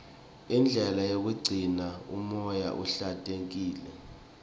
indlela yokugcina umoya uhlantekile